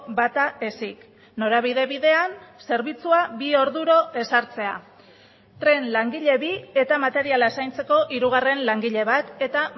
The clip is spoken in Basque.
bata ezik norabide bidean zerbitzua bi orduro ezartzea tren langile bi eta materiala zaintzeko hirugarren langile bat eta